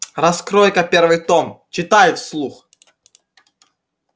раскрой-ка первый том читай вслух